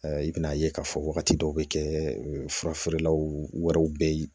I bɛn'a ye k'a fɔ wagati dɔw bɛ kɛ furafeerelaw wɛrɛw bɛ ye